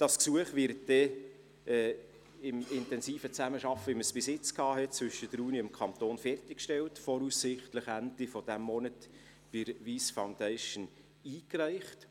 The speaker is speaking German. Das Gesuch wird dann in intensiver Zusammenarbeit, wie wir sie bisher zwischen der Uni und dem Kanton hatten, fertiggestellt und voraussichtlich Ende dieses Monats bei der Wyss Foundation eingereicht.